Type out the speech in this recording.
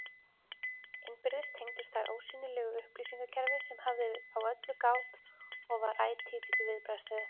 Innbyrðis tengdust þær ósýnilegu upplýsingakerfi, sem hafði á öllu gát og var ætíð í viðbragðsstöðu.